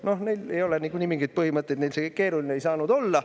No neil ei ole niikuinii mingeid põhimõtteid, neile ei saanud see kõik keeruline olla.